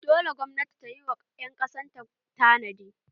Dole gwamnati ta yi ma ƴan ƙasan ta tanadi!